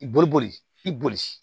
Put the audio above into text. I boli boli i boli